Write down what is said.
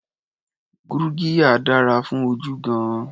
Gurgiya dára fún ojú gan-an.